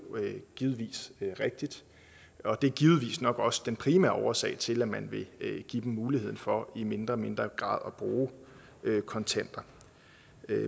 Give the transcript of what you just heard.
givetvis rigtigt og det er givetvis nok også den primære årsag til at man vil give dem muligheden for i mindre og mindre grad at bruge kontanter